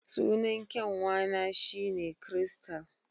Sunan kyanwa na shi ne Crystal